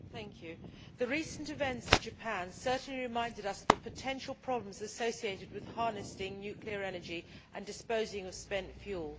Madam President, the recent events in Japan certainly reminded us of the potential problems associated with harnessing nuclear energy and disposing of spent fuel.